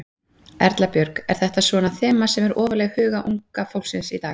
Erla Björg: Er þetta svona þema sem er ofarlega í huga unga fólksins í dag?